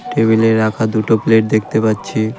টেবিলে রাখা দুটো প্লেট দেখতে পাচ্ছি .